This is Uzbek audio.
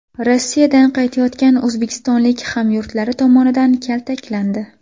Rossiyadan qaytayotgan o‘zbekistonlik hamyurtlari tomonidan kaltaklandi.